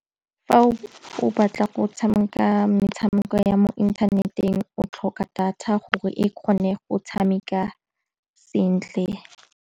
Fa o batla go tshameka metshameko ya mo inthaneteng o tlhoka data gore e kgone go tshameka sentle.